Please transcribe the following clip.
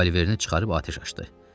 Revolverini çıxarıb atəş açdı.